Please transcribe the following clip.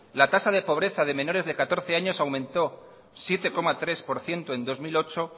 la tasa de pobreza de menores de catorce años aumentó siete coma tres por ciento en dos mil ocho